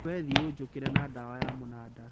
Wathie ũnjũkĩrĩ na ndawa ya mũnanda.